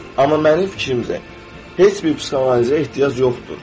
Amma mənim fikrimcə, heç bir psixoanalizə ehtiyac yoxdur.